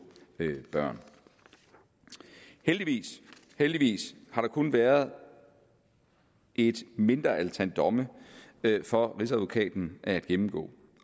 børn heldigvis heldigvis har der kun været et mindre antal domme for rigsadvokaten at gennemgå